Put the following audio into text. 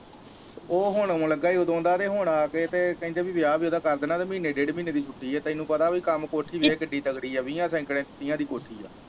ਉਹ ਹੁਣ ਆਉਣ ਲੱਗਾ ਈ ਉਦੋਂ ਦਾ ਤੇ ਹੁਣ ਆ ਕੇ ਤੇ ਕਹਿੰਦੇ ਵੀ ਵਿਆਹ ਵੀ ਉਹਦਾ ਕਰ ਦੇਣਾ ਤੇ ਮਹੀਨੇ ਡੇਢ ਮਹੀਨੇ ਦੀ ਛੁੱਟੀ ਹੈ ਤੈਨੂੰ ਪਤਾ ਵੀ ਕੰਮ ਕੋਠੀ ਦੇਖ ਕਿੰਨੀ ਤਗੜੀ ਹੈ ਕੋਠੀ